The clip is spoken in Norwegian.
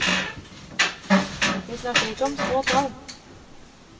Vi snakker ikke om små tall.